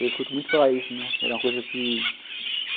Eu escuto muito falar isso, né, que era uma coisa que